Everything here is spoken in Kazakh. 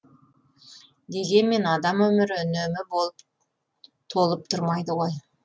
дегенмен адам өмірі үнемі болып толып тұрмайды ғой